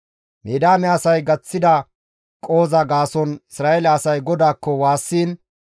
Midiyaame asay gaththida qohoza gaason Isra7eele asay GODAAKKO waassiin,